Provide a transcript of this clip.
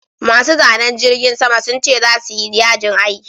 Masu zanen jirgin sama sun ce za suyi yajin aiki